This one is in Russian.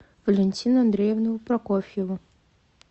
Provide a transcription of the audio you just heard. валентину андреевну прокофьеву